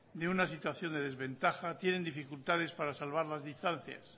de una situación de desventaja tienen dificultades para salvar las distancias